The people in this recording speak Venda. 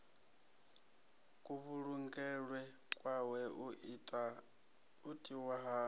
kuvhulungelwe kwawe u tiwa ha